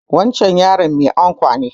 Wancan yaron mai ankwa ne